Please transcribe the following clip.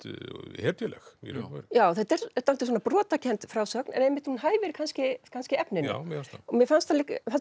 hetjuleg í raun og veru já þetta er dálítið brotakennd frásögn en einmitt hún hæfir kannski kannski efninu já mér fannst það mér fannst það